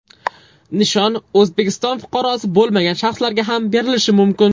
Nishon O‘zbekiston fuqarosi bo‘lmagan shaxslarga ham berilishi mumkin.